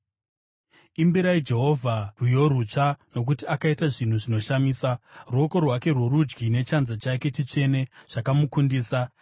Imbirai Jehovha rwiyo rutsva, nokuti akaita zvinhu zvinoshamisa; ruoko rwake rworudyi nechanza chake chitsvene zvakamukundisa.